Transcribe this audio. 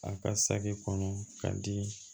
A ka saki kɔnɔ ka di